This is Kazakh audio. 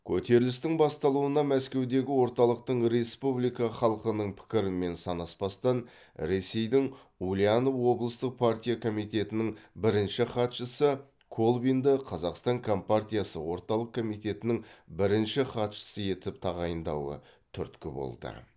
көтерілістің басталуына мәскеудегі орталықтың республика халқының пікірімен санаспастан ресейдің ульянов облыстық партия комитетінің бірінші хатшысы колбинді казақстан компартиясы орталық комитетінің бірінші хатшысы етіп тағайындауы түрткі болды